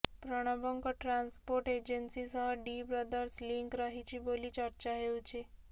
ପ୍ରଣବଙ୍କ transport agency ସହ D brothers link ରହିଛି ବୋଲି ଚର୍ଚ୍ଚା ହେଉଛି